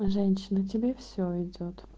женщина тебе всё идёт